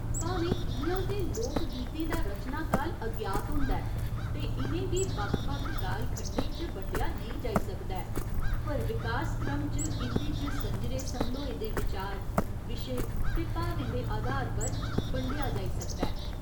भामें इ'यां ते लोक गीतें दा रचनाकाल अज्ञात होंदा ऐ ते इ'नें गी बक्ख बक्ख काल खंडें च बंडेआ नेईं जाई सकदा ऐ पर विकास क्रम च इं'दे च संजरे समल्होए दे विचार, विशे ते भावें दे आधार पर बंडेआ जाई सकदा ऐ।